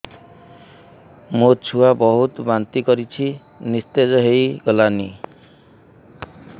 ମୋ ଛୁଆ ବହୁତ୍ ବାନ୍ତି କରୁଛି ନିସ୍ତେଜ ହେଇ ଗଲାନି